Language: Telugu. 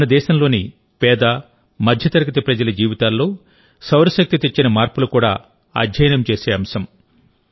మన దేశంలోని పేదమధ్యతరగతి ప్రజల జీవితాల్లో సౌరశక్తి తెచ్చిన మార్పులు కూడా అధ్యయనం చేసే అంశం